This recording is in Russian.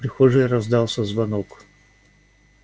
в прихожей раздался звонок